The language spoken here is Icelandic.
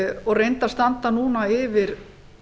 og reyndar standa núna yfir